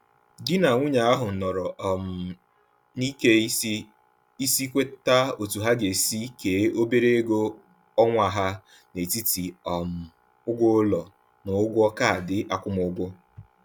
Di na nwunye ahụ nọrọ um n’ike isi isi kweta otú ha ga-esi kee obere ego ọnwa ha n'etiti um ụgwọ ụlọ na ụgwọ kaadị akwụmụgwọ.